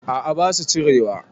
A'a basu cirewa